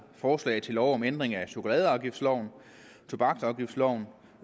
forslag til lov om ændring af chokoladeafgiftsloven tobaksafgiftsloven